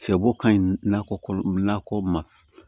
Sɛbo ka ɲi nakɔ nakɔ ma